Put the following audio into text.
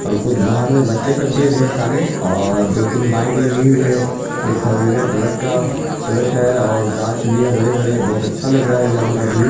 कुछ बाहर में बच्चे सब ढेर सारे और दो-तीन बाइक लगी हुई है| एक ट्रक है और गाछ भी बड़े-बड़े बोहत अच्छा लग रहा है यहाँ का व्यू |